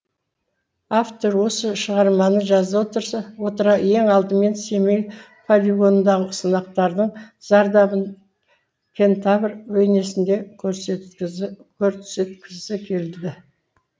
автор осы шығарманы жаза отыра ең алдымен семей полигонындағы сынақтардың зардабын кентавр бейнесінде көрсеткізі көрсеткізі келді